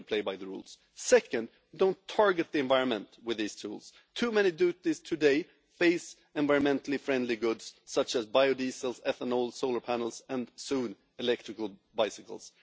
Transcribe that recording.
We have to play by the rules. Second, don't target the environment with these tools too many duties today are targeted at environmentally friendly goods such as biodiesel, ethanol, solar panels and, soon, electrical bicycles.